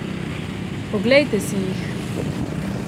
Oglejte si jih!